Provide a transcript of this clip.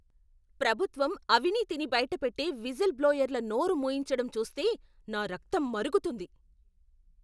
ప్రభుత్వం అవినీతిని బయట పెట్టే విజిల్ బ్లోయర్ల నోరు మూయించడం చూస్తే నా రక్తం మరుగుతుంది.